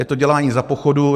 Je to dělání za pochodu.